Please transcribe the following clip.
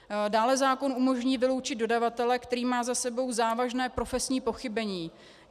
Dále zákon umožní vyloučit dodavatele, který má za sebou závažné profesní pochybení.